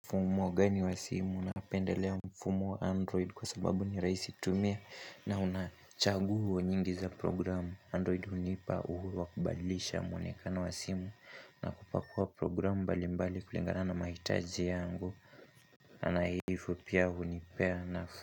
Mfumo gani wa simu napendelea mfumo wa android kwa sababu ni raisi tumia na unachaguo nyingi za programu android hunipa uhuru wakubadilisha mwonekana wa simu na kupakua programu mbali mbali kulingana na mahitaji yangu ana hivu pia hunipea na.